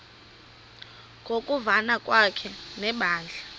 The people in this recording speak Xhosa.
ngokuvana kwakhe nebandla